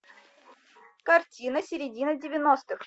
картина середина девяностых